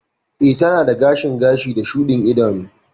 Ee, tana da gashin gashi da shudin idanu.